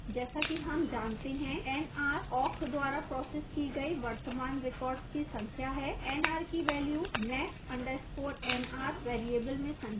जैसा कि हम जानते हैं nr awk द्वारा processed की गई वर्तमान records की संख्या है nr की वेल्यू max _ nr variable में संचित है